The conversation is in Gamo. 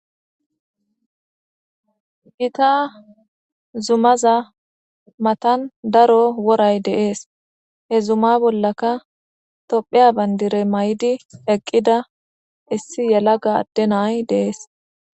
Gita zumaza matan daro woray deees he zuma bollaka topheya bayndirey may7idi eqqida issi yela ga adde nay dees.